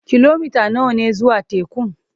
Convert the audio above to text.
Kilomita nawa ne zuwa tekun?